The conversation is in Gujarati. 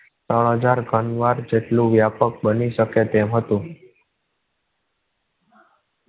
હાજર ઘણીવાર જેટલો વ્યાપક બની શકે તેમ હતો